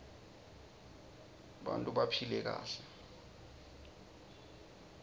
tbanta baphile kahle